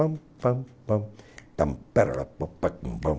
Pampampam, tamparapapapampam.